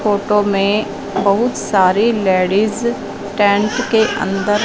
photo मे बहुत सारी लेडिज टेंट के अंदर--